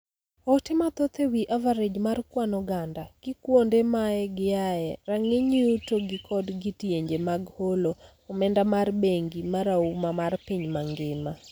Oote mathoth ewii average mar kwan oganda, kikwonde ma giae, rang'iny yuto gi kod kidienje mag holo omenda mar bengi marauma mar piny mangima